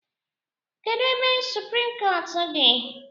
Kedụ ebe suprim kọọt dị?